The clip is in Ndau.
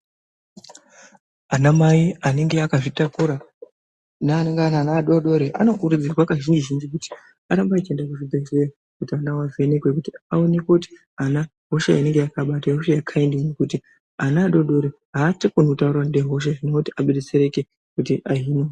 Anamai anenge akazvitakura neanenge aine ana adodori anokurudzirwa kazhinji zhinji kuti arambe echienda kuzvibhedhlera kuti ana awo avhenekwe aonekwe kuti ana hosha inenge yakaabata ihosha yekaindinyi kuti ana adodori achakoni kutaura kuti ndine hosha zvinova kuti abetsereke kuti ahinwe.